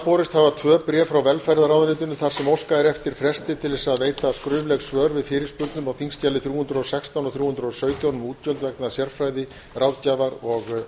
borist hafa tvö bréf frá velferðarráðuneytinu þar sem óskað er eftir fresti til að veita skrifleg svör við fyrirspurnum á þingskjali þrjú hundruð og sextán og þrjú hundruð og sautján um útgjöld vegna sérfræði ráðgjafar og